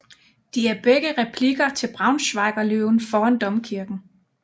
De er begge replikker til Braunschweiger Løven foran domkirken